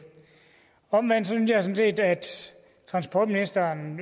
omvendt synes jeg sådan set at transportministeren